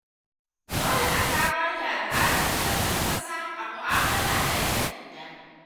Dole a kawar da al'adar “hannu ƙasa” a mu’amala da ‘yan sanda.